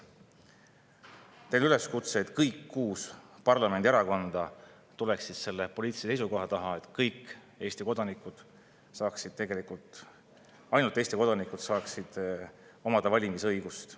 Mul on teile üleskutse, et kõik kuus parlamendierakonda tuleks selle poliitilise seisukoha taha, et kõik Eesti kodanikud ja ainult Eesti kodanikud saaksid omada valimisõigust.